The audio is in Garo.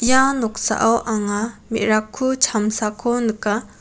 ia noksao anga me·rakku chamsako nika.